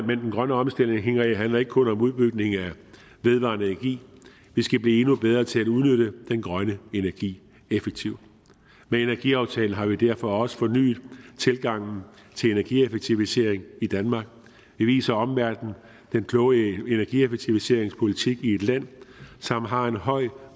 den grønne omstilling handler ikke kun om udbygning af vedvarende energi vi skal blive endnu bedre til at udnytte den grønne energi effektivt med energiaftalen har vi derfor også fornyet tilgangen til energieffektivisering i danmark vi viser omverdenen den kloge energieffektiviserings politik i et land som har et højt